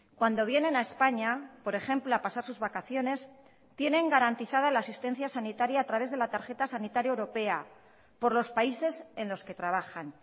cuando vienen a españa por ejemplo a pasar sus vacaciones tienen garantizada la asistencia sanitaria a través de la tarjeta sanitaria europea por los países en los que trabajan